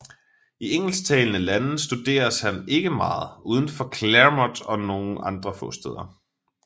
I engelsktalende lande studeres han ikke meget udenfor Claremont og nogle få andre steder